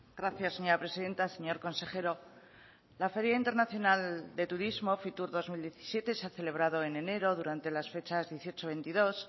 gracias señora presidenta señor consejero la feria internacional de turismo fitur dos mil diecisiete se ha celebrado en enero durante las fechas dieciocho veintidós